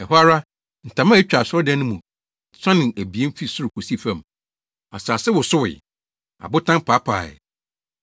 Ɛhɔ ara, ntama a etwa asɔredan no mu no mu suanee abien fi soro kosii fam. Asase wosowee. Abotan paapaee.